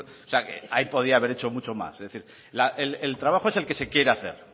con o sea ahí podría haber hecho mucho más es decir el trabajo es el que se quiere hacer